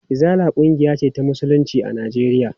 Izala ƙungiya ce ta musulunci a Najeriya.